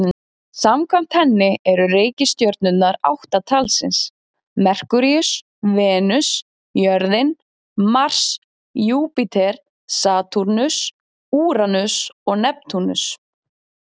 Samkvæmt henni eru reikistjörnurnar átta talsins: Merkúríus, Venus, jörðin, Mars, Júpíter, Satúrnus, Úranus og Neptúnus.